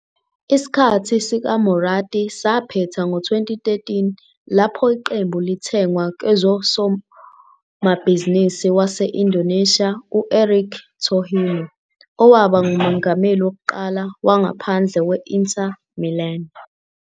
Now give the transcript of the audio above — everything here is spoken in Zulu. Isikhathi sikaMorati saphetha ngo-2013, lapho iqembu lithengwa kwezomabhizinisi wase-Indonesia u-Erik Thohir, owaba ngumongameli wokuqala wangaphandle we-Inter Milan.